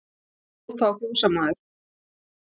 Hló þá fjósamaður.